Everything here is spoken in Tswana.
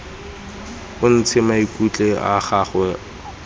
o ntshe maikutlo a gago